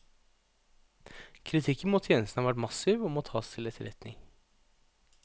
Kritikken mot tjenesten har vært massiv og må tas til etterretning.